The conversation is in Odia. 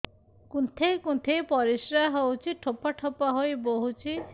କୁନ୍ଥେଇ କୁନ୍ଥେଇ ପରିଶ୍ରା ହଉଛି ଠୋପା ଠୋପା ହେଇ ବହୁତ ସମୟ ଯାଏ ହଉଛି